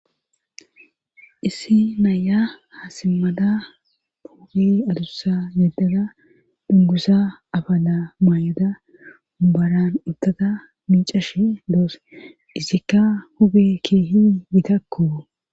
issi naaya haasimmada puugi adussa yededa dungusa abana maay7oda ubaran uttata miicashe doos izikka hube keehi yitakku